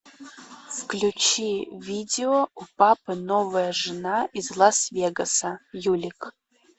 включи видео у папы новая жена из лас вегаса юлик